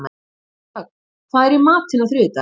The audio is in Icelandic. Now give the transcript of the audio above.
Ögn, hvað er í matinn á þriðjudaginn?